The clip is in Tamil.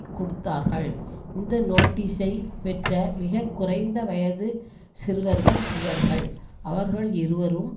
கொடுத்தார்கள் இந்த நோட்டீசை பெற்ற மிக குறைந்த வயது சிறுவர்கள் இவர்கள் அவர்கள் இருவரும்